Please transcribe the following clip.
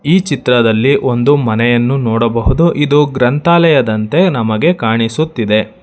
ಈ ಚಿತ್ರದಲ್ಲಿ ಒಂದು ಮನೆಯನ್ನು ನೋಡಬಹುದು ಇದು ಗ್ರಂಥಾಲಯದಂತೆ ನಮಗೆ ಕಾಣಿಸುತ್ತಿದೆ.